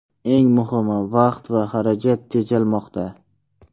Eng muhimi, vaqt va xarajat tejalmoqda.